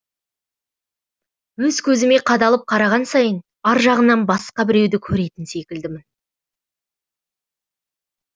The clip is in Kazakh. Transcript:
өз көзіме қадалып қараған сайын аржағынан басқа біреуді көретін секілдімін